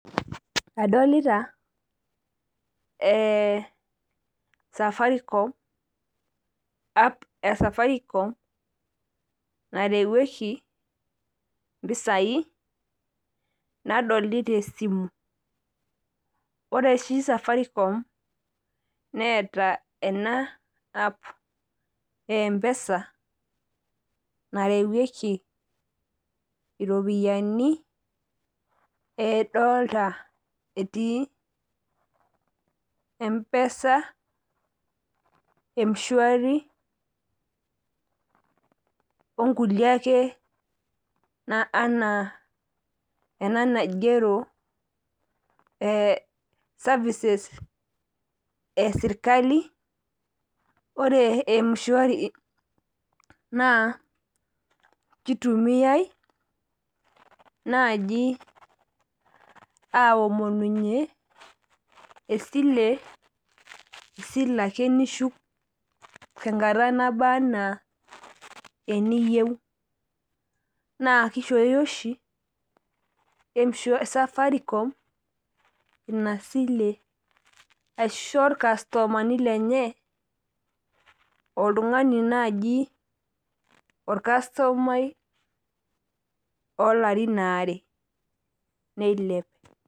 Adolita safaricom app e safaricom naretieki, mpisai nadolita esimu. ore oshi safaricom neeta enacs]app empesa narewueki iropiyiani edolta etii empesa, mshwari onkulie ake anaa ena naigero cs] services e sirkali. ore mshwari naa .kitumiae naaji, aomununye esile ake nishuku tenkata naba anaa teniyieu. naa kishooyo oshi safaricom esile, aisho ilkastomani lenye. oltungani naaji olkastomainloolarin are neilep.